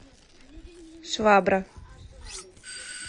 швабра